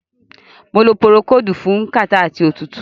Mo lo Púrókódùù fún kàtá àti òtútù.